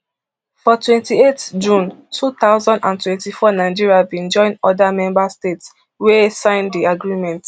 for twenty-eight june two thousand and twenty-four nigeria bin join oda member states wey sign di agreement